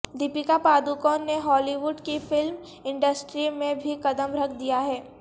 دیپکا پاڈوکون نے Hollywood کی film industry میں بھی قدم رکھ دیا ہے